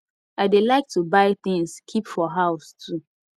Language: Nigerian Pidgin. i dey like to buy things keep for house too